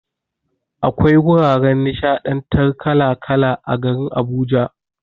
Akwai wuraren nishaɗantar kala kala a garin Abuja.